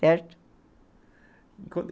Certo?